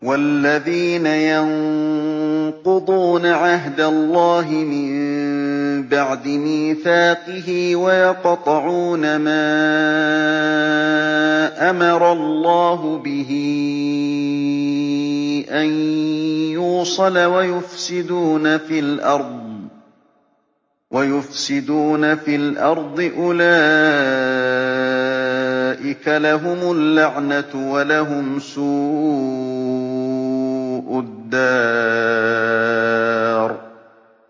وَالَّذِينَ يَنقُضُونَ عَهْدَ اللَّهِ مِن بَعْدِ مِيثَاقِهِ وَيَقْطَعُونَ مَا أَمَرَ اللَّهُ بِهِ أَن يُوصَلَ وَيُفْسِدُونَ فِي الْأَرْضِ ۙ أُولَٰئِكَ لَهُمُ اللَّعْنَةُ وَلَهُمْ سُوءُ الدَّارِ